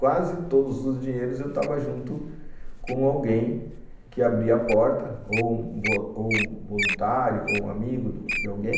Quase todos os dinheiros eu estava junto com alguém que abria a porta, ou um voluntário, ou um amigo de alguém.